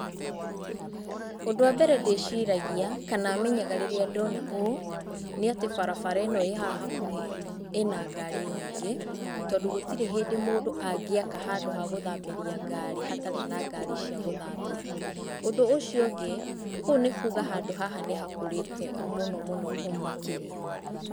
Ũndũ wambere ndĩciragia kana menyaga rĩrĩa ndona ũũ, nĩ atĩ barabara ĩno ĩĩ haha hakuhĩ ĩna ngari nyingĩ, tondũ gũtirĩ hĩndĩ mũndũ angĩaka handũ ha gũthambĩria ngari hatarĩ na ngari cia gũthambia. Ũndũ ũcio ũngĩ, kũu nĩ kuuga handũ haha nĩhakũrĩte mũno mũno makĩria.